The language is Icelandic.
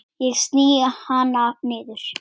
Ég sný hana niður.